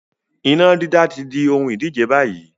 Iná dídá tí di ohun ìdíje báyìí